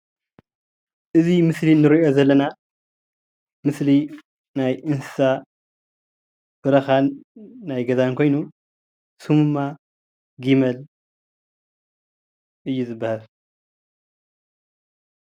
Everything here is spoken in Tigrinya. እዚ ምስሊ እንሪኦ ዘለና ምስሊ ናይ እንስሳ በረካን ናይ ገዛን ኮይኑ ሰሙ ድማ ጊመል እዩ ዝበሃል።